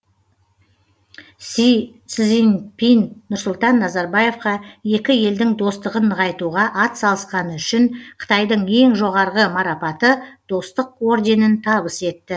си цзиньпин нұрсұлтан назарбаевқа екі елдің достығын нығайтуға атсалысқаны үшін қытайдың ең жоғарғы марапаты достық орденін табыс етті